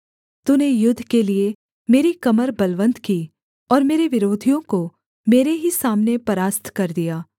तूने युद्ध के लिये मेरी कमर बलवन्त की और मेरे विरोधियों को मेरे ही सामने परास्त कर दिया